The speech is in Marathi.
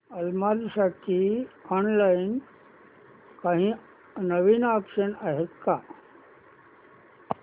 अलमारी साठी ऑनलाइन काही नवीन ऑप्शन्स आहेत का